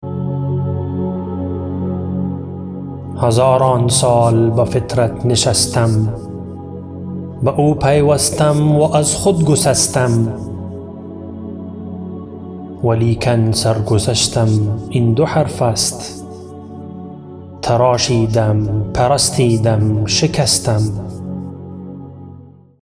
هزاران سال با فطرت نشستم به او پیوستم و از خود گسستم ولیکن سر گذشتم این دو حرفست تراشیدم پرستیدم شکستم